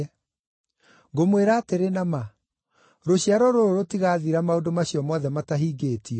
“Ngũmwĩra atĩrĩ na ma, rũciaro rũrũ rũtigathira maũndũ macio mothe matahingĩtio.